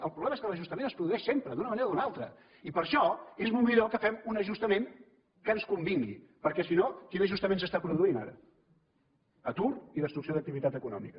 el problema és que l’ajustament es produeix sempre d’una manera o d’una altra i per això és molt millor que fem un ajustament que ens convingui perquè si no quin ajustament s’està produint ara atur i destrucció d’activitat econòmica